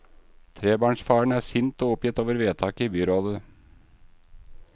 Trebarnsfaren er sint og oppgitt over vedtaket i byrådet.